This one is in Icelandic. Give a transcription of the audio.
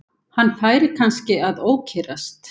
Hann færi kannski að ókyrrast.